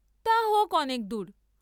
তা হোক্ অনেক দূর!